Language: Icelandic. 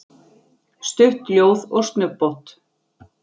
Stutt ljóð og snubbótt.